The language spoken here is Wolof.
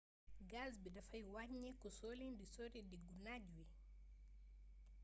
gas bi dafay waññeeku soo leen di sori diggu naaj wi